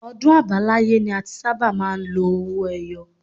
Ọdún àbáláyé ni a ti sábà máa ń lo owó ẹyọ